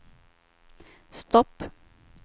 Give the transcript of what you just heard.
stopp